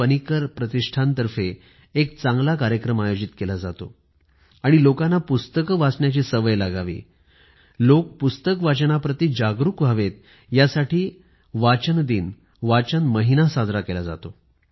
पनीकर प्रतिष्ठानातर्फे एक चांगला कार्यक्रम आयोजित केला जातो आणि लोकांना पुस्तके वाचण्याची सवय लागावी लोक पुस्तक वाचनाप्रति जागरूक व्हावे यासाठी वाचन दिन वाचन महिना साजरा केला जातो